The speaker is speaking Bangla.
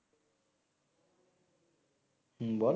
হম বল